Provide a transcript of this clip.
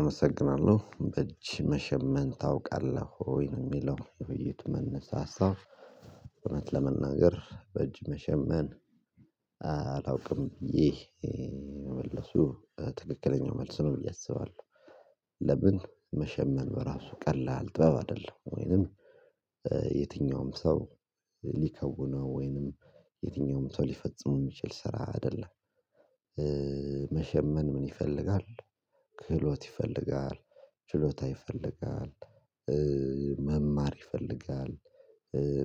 አመሰግናለሁ በእጅ መሸመን ታውቃለህ ወይ? ነው የሚለው። ውይይቱ መነሻ ሀሳብ። እውነት ለመናገር በእጅ መሸመን አላውቅም። ይህ መልሱ ትክክለኛው መልስ ነው ብዬ አስባለሁ ለምን መሸመን በራሱ ቀላል ጥበብ አይደለም። ወይንም የትኛውም ሰው ሊከውነው ወይንም የትኛውም ሰው ሊፈጽመው የሚችል ስራ አይደለም። መሸመን ምን ይፈልጋል? ክህሎት ይፈልጋል፤ ችሎታ ይፈልጋል፤ መማር ይፈልጋል፤